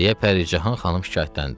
deyə Pəricahan xanım şikayətləndi.